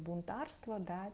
бунтарство да